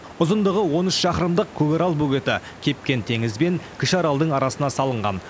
ұзындығы он үш шақырымдық көкарал бөгеті кепкен теңіз бен кіші аралдың арасына салынған